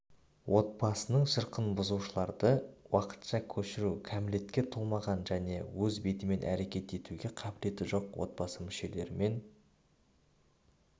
отбасының шырқын бұзушыларды уақытша көшіру кәмелетке толмаған және өз бетімен әрекет етуге қабілеті жоқ отбасы мүшелерімен